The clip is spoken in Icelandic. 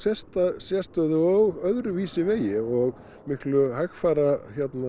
sérstöðu og öðruvísi vegi og miklu hægfara